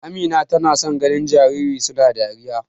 Amina tana son ganin jarirai suna dariya.